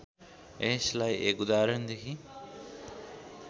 यसलाई एक उदाहरणदेखि